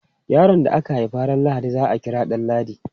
Yaron da aka haifa ran Lahadi za a kira Danladi.